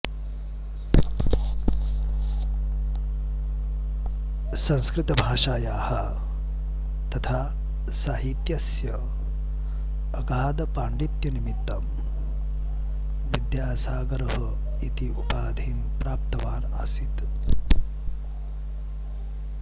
संस्कृतभाषायाः तथा साहित्यस्य अगाधपाण्डित्यनिमित्तं विद्यासागरः इति उपाधिं प्राप्तवान् आसीत्